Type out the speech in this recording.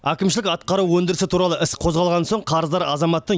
әкімшілік атқару өндірісі туралы іс қозғалған соң қарыздар азаматтың